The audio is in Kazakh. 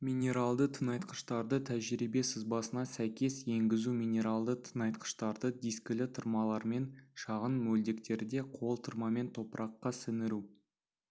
минералды тыңайтқыштарды тәжірибе сызбасына сәйкес енгізу минералды тыңайтқыштарды дискілі тырмалармен шағын мөлдектерде қол тырмамен топыраққа сіңіру